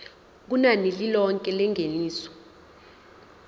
kunani lilonke lengeniso